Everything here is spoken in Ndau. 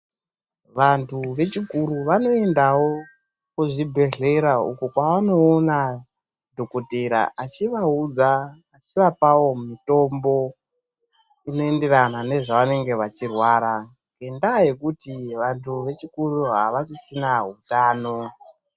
Antu wechikuru anoendawo kuzvibhedhlera uko kwavanoona dhokodheya achivaudza, achivapawo mutombo unoenderana nezvavanenge vachirwara, nendaa yekuti vantu vechikuru havasisina utano.